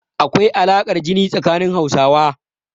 Akwai alaƙar jini tsanin Hausawa.